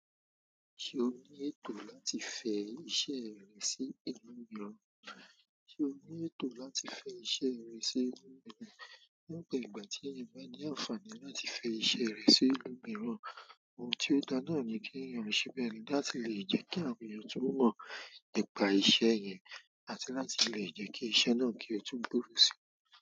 Ṣe o ní ètò láti fẹ́ iṣẹ́ rẹ̀ sí ìlú mìíràn? Ṣé o ní ètò láti fẹ́ iṣẹ́ rẹ̀ sí ìlú mìíràn? Lọ́pọ̀ ìgbà tí èèyàn bá ní àǹfààní láti fẹ́ iṣẹ́ rẹ̀ sí ìlú mìíràn, oun ti o dáa naani kí èèyàn ṣe bẹ́ẹ̀ láti lè jẹ́ kí àwọn èèyàn tún mo nípa iṣẹ́ yẹn àti láti lè jẹ́ kí iṣẹ́ náà kí ó tún gbòòrò síi.